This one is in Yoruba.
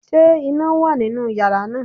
Ṣé iná wà nínú yàrá náà?